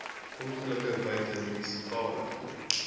ongelukke buite munisipale